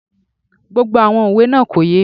Gbogbo àwọn òwe náà kò yé mi